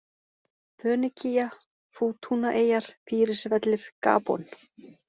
Fönikía, Fútúnaeyjar, Fýrisvellir, Gabon